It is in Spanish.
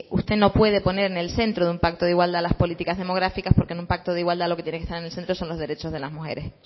usted no puede poner en el centro de un pacto de igualdad las políticas demográficas porque en un pacto de igualdad lo que tiene que estar en el centro son los derechos de las mujeres